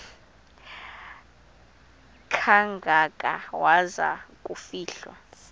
kangaka waza kufihlwa